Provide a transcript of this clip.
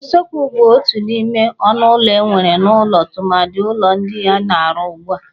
Usekwu bụ otu n'ime ọnụ ụlọ enwere n'ụlọ tụmadị ụlọ ndị a na-arụ ugbụ a.